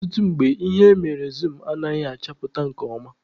Ọtụtụ mgbe, ihe emere zum anaghị achapụta nke ọma.